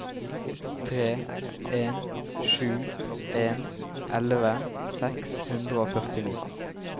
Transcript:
tre en sju en elleve seks hundre og førtini